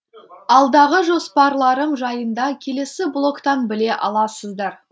алдағы жоспарларым жайында келесі блогтан біле аласыздар